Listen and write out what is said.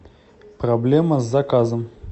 проблема с заказом